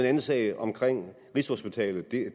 anden sag om rigshospitalet